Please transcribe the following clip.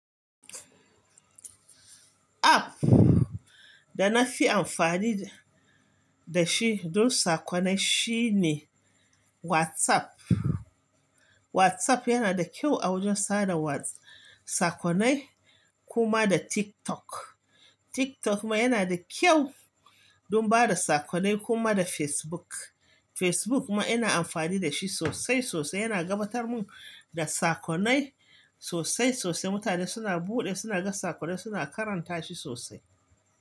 App da na fi amfani da shi don sakonai shine WhatsApp. WhatsApp yana da kyau a wajen sada wats sakonai, kuma da TikTok. TikTok ma yana da kyau don ba da sakonai, kuma da Facebook. Facebook ma ina amfani da shi sosai, sosai. Yana gabatar mun da sakonai sosai, sosai. Mutane suna buɗe, suna ga sakonai, suna karanta shi sosai.